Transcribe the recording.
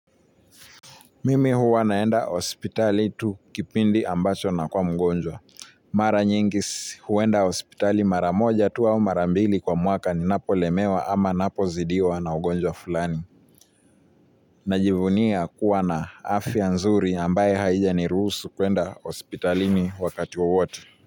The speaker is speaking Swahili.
Mimi huwa naenda hospitali tu kipindi ambacho na kuwa mgonjwa. Mara nyingi huenda hospitali mara moja tu wa mara mbili kwa mwaka ni napolemewa ama napozidiwa na ugonjwa fulani. Najivunia kuwa na afya nzuri ambaye haijaniruhusu kuenda hospitalini wakati wa wowote.